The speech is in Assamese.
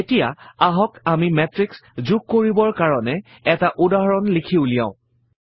এতিয়া আহক আমি মাতৃশ যোগ কৰিবৰ কাৰণে এটা উদাহৰণ লিখি উলিয়াও